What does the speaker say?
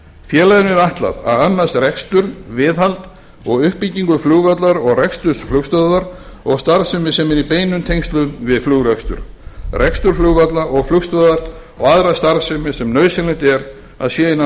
er ætlað að annast rekstur viðhald og uppbyggingu flugvallar og reksturs flugstöðvarinnar og starfsemi sem er í beinum tengslum við flugrekstur rekstur flugvalla og flugstöðvar og aðra starfsemi sem nauðsynlegt er að sé innan